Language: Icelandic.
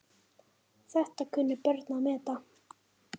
Þetta kunnu börnin að meta.